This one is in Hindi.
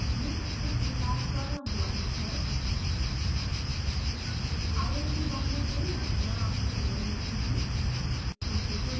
यह script विकास द्वारा अनुवादित है